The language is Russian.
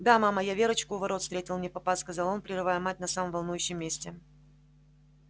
да мама я верочку у ворот встретил невпопад сказал он прерывая мать на самом волнующем месте